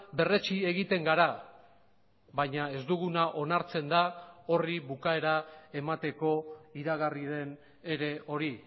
berretsi egiten gara baina ez duguna onartzen da horri bukaera emateko iragarri den ere hori